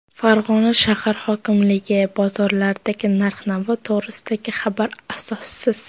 Farg‘ona shahar hokimligi: bozorlardagi narx-navo to‘g‘risidagi xabar asossiz.